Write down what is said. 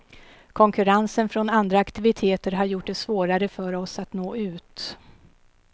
Konkurrensen från andra aktiviteter har gjort det svårare för oss att nå ut.